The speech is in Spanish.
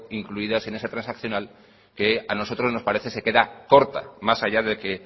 incluidas en esa transaccional que a nosotros nos parece se queda corta más allá de que